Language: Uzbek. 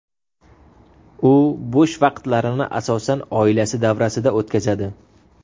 U bo‘sh vaqtlarini asosan oilasi davrasida o‘tkazadi.